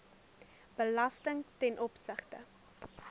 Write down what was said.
belasting ten opsigte